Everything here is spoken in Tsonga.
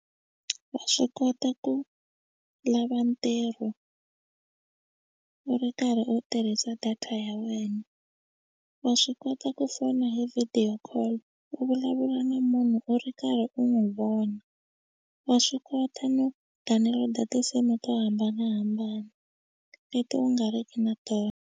Wa swi kota ku lava ntirho u ri karhi u tirhisa data ya wena wa swi kota ku fona hi video call u vulavula na munhu u ri karhi u n'wi vona wa swi kota no download-a tinsimu to hambanahambana leti u nga ri ki na tona.